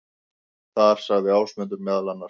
Þar sagði Ásmundur meðal annars: